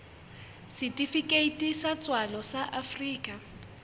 setifikeiti sa tswalo sa afrika